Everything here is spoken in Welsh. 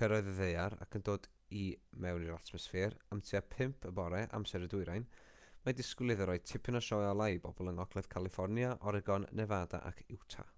cyrraedd y ddaear ac yn dod i mewn i'r atmosffer am tua 5am amser y dwyrain mae disgwyl iddo roi tipyn o sioe olau i bobl yng ngogledd califfornia oregon nefada ac utah